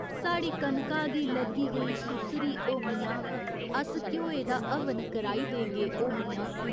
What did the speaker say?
साढ़ी कनका गी लग्गी गेई सुस्सरी, ओ मियां अस घ्योए दा हवन कराई देगे, ओ मियां।